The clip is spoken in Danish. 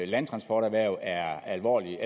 landtransporterhverv er alvorligt